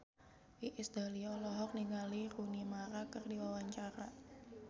Iis Dahlia olohok ningali Rooney Mara keur diwawancara